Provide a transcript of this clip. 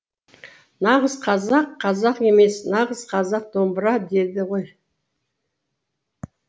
нағыз қазақ қазақ емес нағыз қазақ домбыра дейді ғой